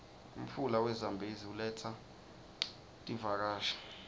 umfula we zambezi uletsa tiuakashi